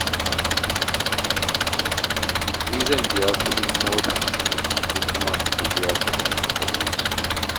Ni zan biya kuɗin mota, ku kuma ku biya kuɗin abinci.